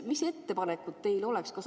Mis ettepanekud teil oleks?